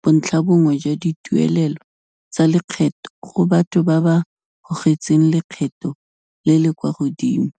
bontlhabongwe jwa dituelelo tsa lekgetho go batho ba ba gogetsweng lekgetho le le kwa godimo.